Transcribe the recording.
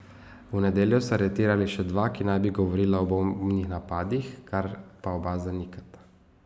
V nedeljo so aretirali še dva, ki bi naj govorila o bombnih napadih, kar pa oba zanikata.